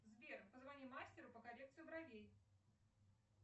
сбер позвони мастеру по коррекции бровей